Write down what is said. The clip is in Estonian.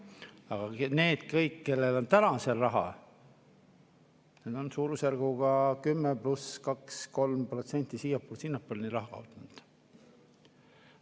Aga need kõik, kellel on täna seal raha, need on suurusjärguga 10 pluss kaks-kolm protsenti siia- või sinnapoole raha kaotanud.